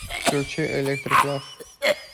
включи электрик лав